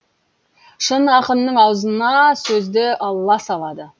шын ақынның аузына сөзді алла салады